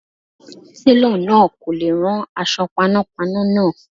Télọ̀ náà kò lè rán aṣọ panápaná náà.